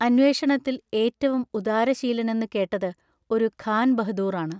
അന്വേഷണത്തിൽ ഏറ്റവും ഉദാരശീലനെന്നു കേട്ടത് ഒരു ഖാൻ ബഹദൂറാണ്.